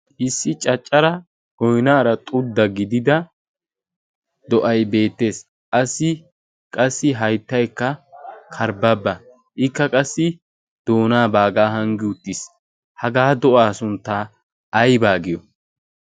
issi caccara goinaara xudda gidida do'ay beettees assi qassi hayttaykka karbbabba ikka qassi doonaabaagaa hanggi uttiis hagaa do'aa sunttaa aybaa giyo